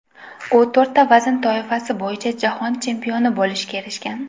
U to‘rtta vazn toifasi bo‘yicha jahon chempioni bo‘lishga erishgan.